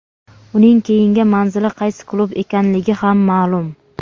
Uning keyingi manzili qaysi klub ekanligi ham ma’lum;.